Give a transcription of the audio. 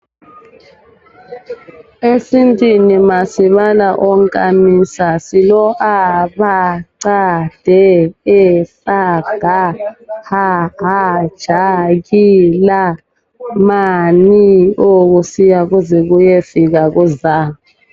Esintwini masibala onkamisa silo a, ba, ca, de, e, a, ga, ha, ha, ja, ki, la, ma, ni, o kusiya kuze kuyefika ku za.